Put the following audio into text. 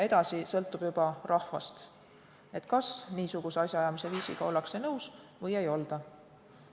Edasi sõltub juba rahvast, kas niisuguse asjaajamisviisiga ollakse nõus või ei olda.